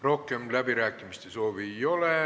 Rohkem läbirääkimiste soovi ei ole.